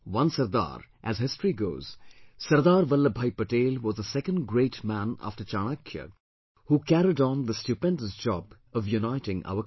One Sardar, as history goes, Sardar Vallabhbhai Patel was the second great man after Chanakya who carried on the stupendous job of uniting our country